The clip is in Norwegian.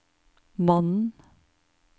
mannen